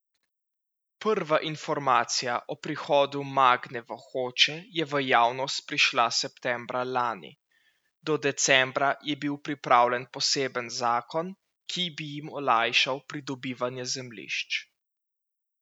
Prva informacija o prihodu Magne v Hoče je v javnost prišla septembra lani, do decembra je bil pripravljen poseben zakon, ki bi jim olajšal pridobivanje zemljišč.